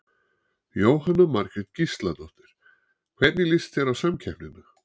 Jóhanna Margrét Gísladóttir: Hvernig líst þér á samkeppnina?